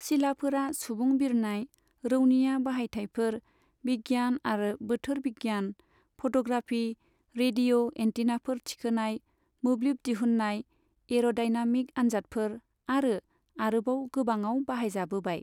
सिलाफोरा सुबुं बिरनाय, रौनिया बाहायथायफोर, बिगियान आरो बोथोर बिगियान, फट'ग्राफी, रेडिय' एन्टिनाफोर थिखोनाय, मोब्लिब दिहुन्नाय, एर'दाइनामिक आनजादफोर आरो आरोबाव गोबाङाव बाहाय जाबोबाय।